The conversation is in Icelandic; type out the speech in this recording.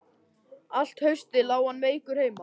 Allt haustið lá hann veikur heima.